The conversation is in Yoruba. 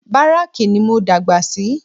Báràkì ní mo dàgbà sí